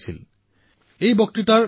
মইতো নিশ্চিতভাৱেই প্ৰভাৱিত হলো